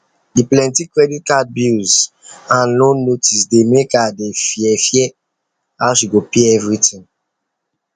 the plenty credit card bills and loan notice dey make her dey fear fear how she go pay everything